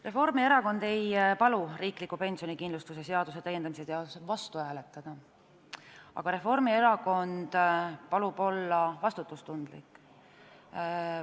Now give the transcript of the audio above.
Reformierakond ei palu riikliku pensionikindlustuse seaduse § 61 täiendamise seadusele vastu hääletada, aga Reformierakond palub olla vastutustundlik.